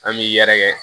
An b'i yɛrɛkɛ